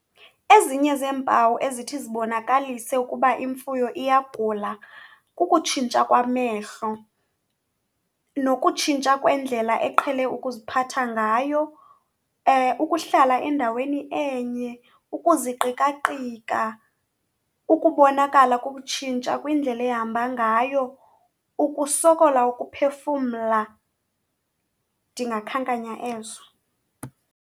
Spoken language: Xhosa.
Ezinye zeempawu ezithi zibonakalise ukuba imfuyo iyagula kukutshintsha kwamehlo nokutshintsha kwendlela eqhele ukuziphatha ngayo. Ukuhlala endaweni enye, ukuziqikaqika, ukubonakala kubutshintsha kwindlela ehamba ngayo, ukusokola ukuphefumla, ndingakhankanya ezo.